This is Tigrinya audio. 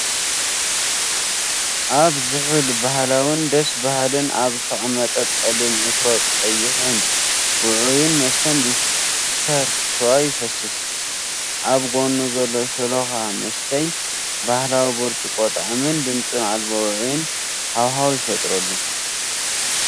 ኣብ ዝሑል ባህላውን ደስ በሃልን ኣብ ዝተቐመጠ ጸሊም ዕትሮ ቀይሕን ውዑይን መስተ ሊፍተር ስዋ ይፈስስ። ኣብ ጎኑ ዘሎ ሸሎኻ መስተይ ባህላዊ ብርጭቆ ጣዕምን ድምጺ ኣልቦ ውዑይን ሃዋህው ይፈጥረሉ።